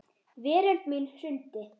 Veröld mín hrundi.